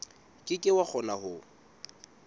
ke ke wa kgona ho